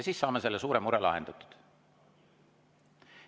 Siis saame selle suure mure lahendatud.